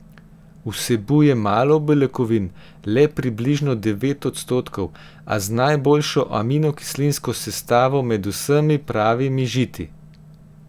Vsebuje malo beljakovin, le približno devet odstotkov, a z najboljšo aminokislinsko sestavo med vsemi pravimi žiti.